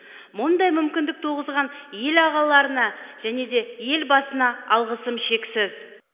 мұндай мүмкіндік туғызған ел ағаларына және де елбасына алғысым шексіз